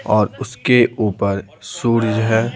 और उसके ऊपर सूर्य है।